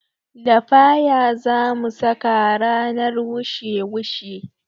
Lafaya zamu saka ranar wushe wushe